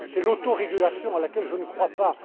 régulation. C'est l'autorégulation à laquelle je